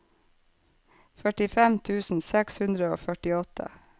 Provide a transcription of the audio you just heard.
førtifem tusen seks hundre og førtiåtte